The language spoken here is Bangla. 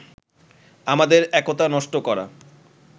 আমাদের একতা নষ্ট করা